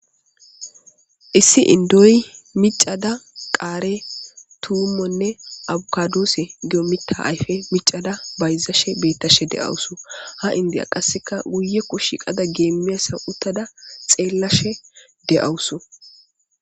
Issi inddoy miccada qaare, tuumonne abukadose giya mitta miccada bayizashe beettashe de'awus. Ha inddiya qassekka guyekko shiiqada geemmiyassa uttada xeellashe de'awusu.